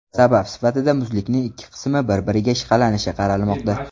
Sabab sifatida muzlikning ikki qismi bir-biriga ishqalanishi qaralmoqda.